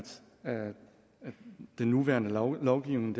den nuværende lovgivning